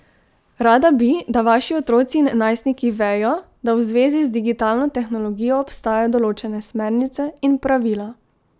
Rada bi, da vaši otroci in najstniki vejo, da v zvezi z digitalno tehnologijo obstajajo določene smernice in pravila.